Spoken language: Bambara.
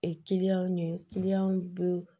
ɲɛ bɛ